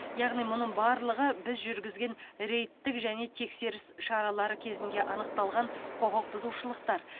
яғни мұның барлығы біз жүргізген рейдтік және тексеріс шаралары кезінде анықталған құқық бұзушылықтар